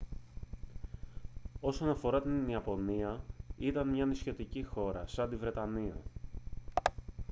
όσον αφορά την ιαπωνία ήταν μια νησιωτική χώρα σαν τη βρετανία